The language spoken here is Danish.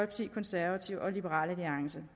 de konservative og liberal alliance